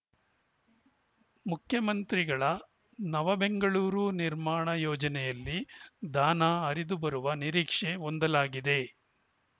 ಮುಖ್ಯಮಂತ್ರಿಗಳ ನವ ಬೆಂಗಳೂರು ನಿರ್ಮಾಣ ಯೋಜನೆಯಲ್ಲಿ ದಾನ ಹರಿದು ಬರುವ ನಿರೀಕ್ಷೆ ಹೊಂದಲಾಗಿದೆ